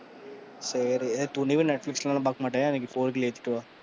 சரி, துணிவு netflix ல எல்லாம் பாக்க மாட்டேன், four k ல ஏத்துட்டு வா,